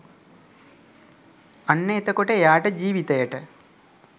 අන්න එතකොට එයාට ජීවිතයට